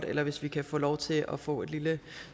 eller hvis vi kan få lov til at få et lille